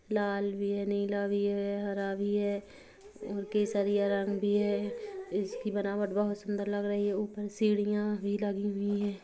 लाल भी है नीला भी है हरा भी है और केसरिया रंग भी है इसकी बनावट बहुत सुन्दर लग रही है ऊपर सीढियाँ भी लगी हुई है ।